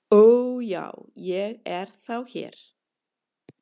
"""Ó, já, ég er þá hér"""